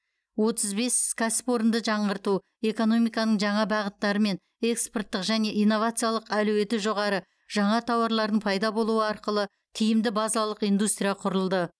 отыз бес кәсіпорынды жаңғырту экономиканың жаңа бағыттары мен экспорттық және инновациялық әлеуеті жоғары жаңа тауарлардың пайда болуы арқылы тиімді базалық индустрия құрылды